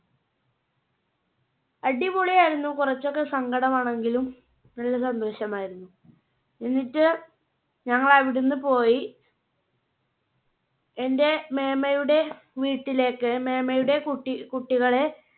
അടിപൊളി ആയിരുന്ന. കുറച്ചൊക്കെ സങ്കടം ആണെങ്കിലും. നല്ല സന്തോഷമായിരുന്നു. എന്നിട്ട് ഞങ്ങൾ അവിടുന്ന് പോയി എന്റെ മേമ്മയുടെ വീട്ടിലേക്ക് മേമ്മയുടെ കുട്ടി~കുട്ടികളെ